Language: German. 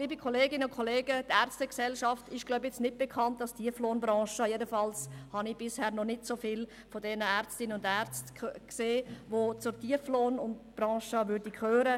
Liebe Kolleginnen und Kollegen, die Ärztegesellschaft ist kaum dafür bekannt, zur Tieflohnbranche zu gehören.